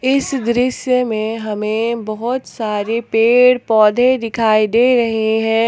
इस दृश्य में हमें बहुत सारे पेड़ पौधे दिखाई दे रहे है।